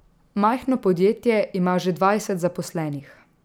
Majhno podjetje ima že dvajset zaposlenih.